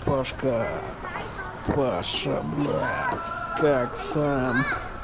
пашка паша блять как сам